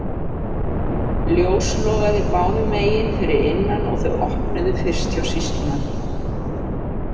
Ljós logaði báðum megin fyrir innan og þau opnuðu fyrst hjá sýslumanni.